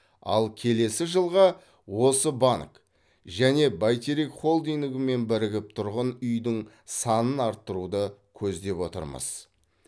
ал келесі жылға осы банк және бәйтерек холдингімен бірігіп тұрғын үйдің санын арттыруды көздеп отырмыз